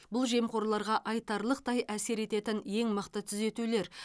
бұл жемқорларға айтарлықтай әсер ететін ең мықты түзетулер